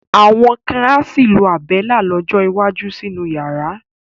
Àwọn kan á sì lo Àbẹ́lá lọ́jọ́ iwájú sínú yàrá.